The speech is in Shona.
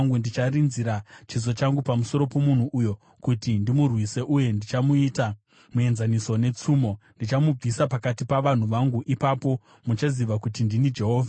Ndicharinzira chiso changu pamusoro pomunhu uyo kuti ndimurwise uye ndichamuita muenzaniso netsumo. Ndichamubvisa pakati pavanhu vangu. Ipapo muchaziva kuti ndini Jehovha.